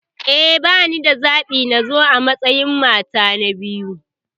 Eh, banida wani zaɓi illa na yarda nazo a matsayin mata ta biyu.